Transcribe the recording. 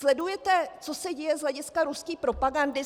Sledujete, co se děje z hlediska ruské propagandy?